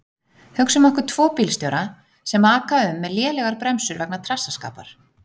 Hugsum okkur tvo bílstjóra sem aka um með lélegar bremsur vegna trassaskapar.